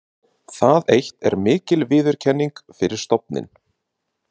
Það eitt er mikil viðurkenning fyrir stofninn.